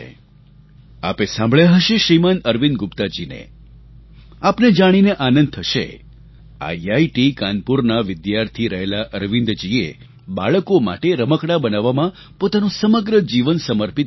આપે સાંભળ્યા હશે શ્રીમાન અરવિંદ ગુપ્તા જીને આપને જાણીને આનંદ થશે આઇઆઇટી કાનપુરના વિદ્યાર્થી રહેલા અરવિંદજીએ બાળકો માટે રમકડાં બનાવવામાં પોતાનું સમગ્ર જીવન સમર્પિત કરી દીધું